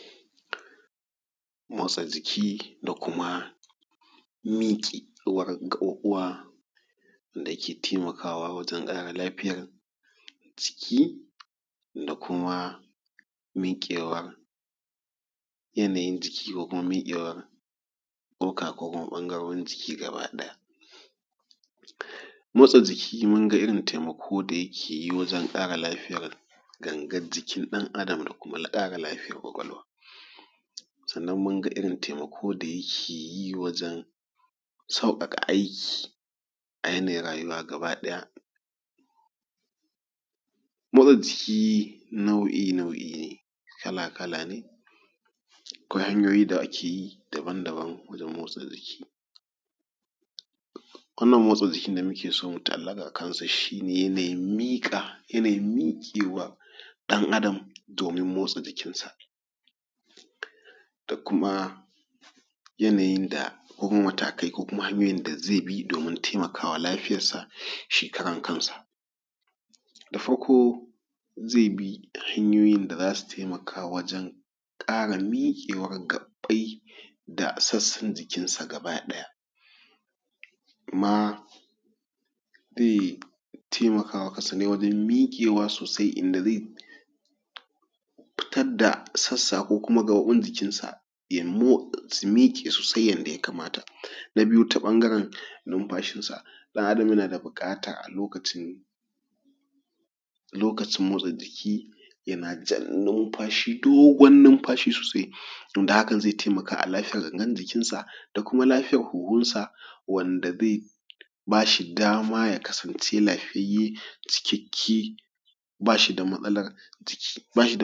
Motsa jiki da kuma mikewar gaɓuɓuwa da ke taimakawa wajen ƙara lafiyar jiki da kuma... mikewa.. yanayin jiki da kuma mikewa kukuma bangarurin jiki gaba ɗaya. Motsa jiki mun ga irin taimakon da yake yin wajen ƙara lafiyar gangar jikin ɗan Adam da kuma ƙara lafiyar ƙwaƙwalwa. Sannan mun ga irin taimako da yake yi, wajen sauƙaƙa aikin a yanayin rayuwa gaba ɗaya. Motsa jiki nau'i-nau'i ne kala-kala ne. Akwai hanyoyi da ake yi daban-daban wajen motsa jiki. Kalan motsi jiki da muke so mu ta'allaka shi ne yanayin mika.. yanayin miƙewa ɗan Adam domin motsa jikinsa da kuma yanayin da ko matakai kokuma hanyoyin ko matakai da hanyaoyin da zai bi domin taimakawa lafiyarsa shi karan kansa. Da farko zai bi hanyoyin da za su taimaka wajen ƙara mikewar gaɓɓai da sassan jikinsa gaba ɗaya.kuma zai taimaka maka waje. Miƙewa sosai inda zai fitar da sassa ko gaɓoɓin jikinsa su miƙe sosai yadda ya kamata. Na biyu ta bangaren nimfashinsa ɗan Adam yana da buƙata a lokacin motsa jiki yana jan dogon numfashi sosai, wanda hakan zai taimaka a lafiyargangan jikinsa da kuma lafiya hunhunsa wanda zai ba shi dama ya kasance lafiyayye cikakke ba shi da matsalar.